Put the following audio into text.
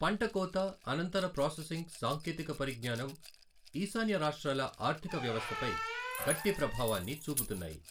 పంట కోత అనంతర ప్రాసెసింగ్ సాంకేతిక పరిజ్ఙానం ఈశాన్య రాష్ట్రాల ఆర్థిక వ్యవస్థపై గట్టి ప్రభావాన్ని చూపుతున్నాయి.